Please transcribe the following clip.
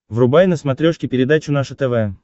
врубай на смотрешке передачу наше тв